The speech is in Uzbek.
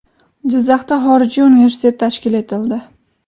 Jizzaxda xorijiy universitet tashkil etildi.